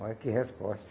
Olha que resposta.